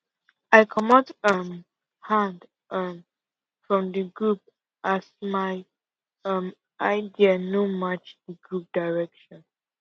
i comot um hand um from group work as my um idea no match di group direction